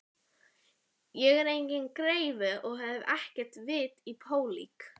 Ég er enginn greifi og hef ekkert vit á pólitík.